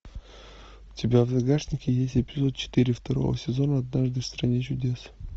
у тебя в загашнике есть эпизод четыре второго сезона однажды в стране чудес